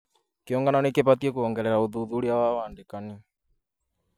Kĩũngano nĩ gĩbatiĩ kuongerera ũthuthuria wa wandĩkani